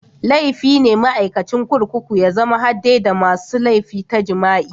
Laifi ne maikacin kurkuku ya zama hadde da masun laifi ta jima'i.